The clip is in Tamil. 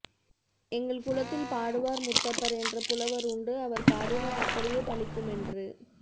எங்கள் குலத்தில் பாடுவார் முத்தப்பர் என்ற புலவர் உண்டு அவர் பாடினால் அப்படியே பலிக்குமென்று